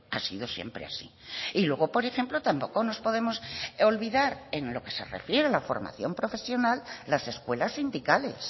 ha sido siempre así y luego por ejemplo tampoco nos podemos olvidar en lo que se refiere a la formación profesional las escuelas sindicales